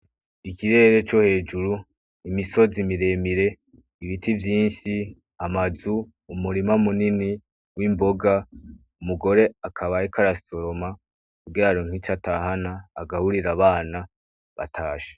Ikirere co hejuru, imisozi miremire, ibiti vyinshi, amazu, umurima munini w'imboga, umugore akaba ariko arasoroma kugira aronke ico atahana agaburire abana atashe.